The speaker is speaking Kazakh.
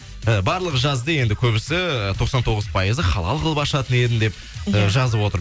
ы барлығы жазды енді көбісі тоқсан тоғыз пайызы халал қылып ашатын едім деп иә жазып отыр